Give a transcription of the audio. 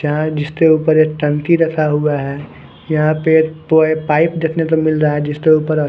यहां जिसते ऊपर एक टंकी रखा हुआ है यहां पे एत पाइप देथने को मिल रहा है जीसते ऊपर--